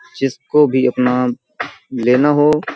जिसको भी अपना लेना हो --